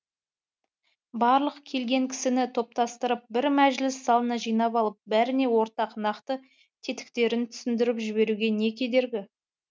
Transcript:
барлық келген кісіні топтастырып бір мәжіліс залына жинап алып бәріне ортақ нақты тетіктерін түсіндіріп жіберуге не кедергі